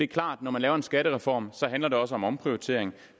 klart at når man laver en skattereform handler det også om omprioritering